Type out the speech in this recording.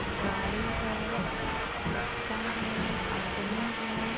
गाड़ी है चक्का है आदमी है।